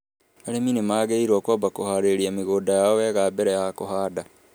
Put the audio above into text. Arĩmi nĩ magĩrĩirũo kwamba kũhaarĩria mĩgũnda yao wega mbere ya kũhanda.